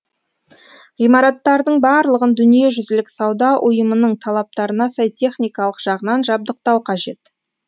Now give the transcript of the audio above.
ғимараттардың барлығын дүниежүзілік сауда ұйымының талаптарына сай техникалық жағынан жабдықтау қажет